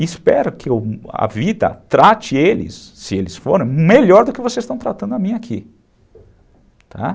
E espero que a vida trate eles, se eles forem, melhor do que vocês estão tratando a mim aqui.